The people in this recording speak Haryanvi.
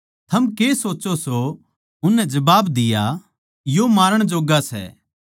थम के सोच्चो सो उननै जबाब दिया यो मारण जोग्गा सै